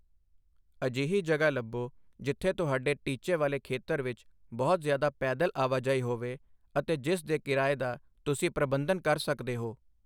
ਅਜਿਹੀ ਜਗ੍ਹਾ ਲੱਭੋ ਜਿੱਥੇ ਤੁਹਾਡੇ ਟੀਚੇ ਵਾਲੇ ਖੇਤਰ ਵਿੱਚ ਬਹੁਤ ਜ਼ਿਆਦਾ ਪੈਦਲ ਆਵਾਜਾਈ ਹੋਵੇ ਅਤੇ ਜਿਸ ਦੇ ਕਿਰਾਏ ਦਾ ਤੁਸੀਂ ਪ੍ਰਬੰਧਨ ਕਰ ਸਕਦੇ ਹੋ।